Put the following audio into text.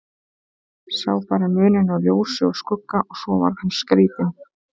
Sá bara muninn á ljósi og skugga og svo varð hann skrítinn.